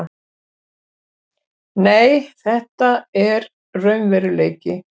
Nei, þetta er raunveruleiki.